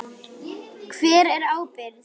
Hver ber ábyrgð?